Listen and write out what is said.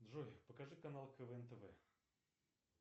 джой покажи канал квн тв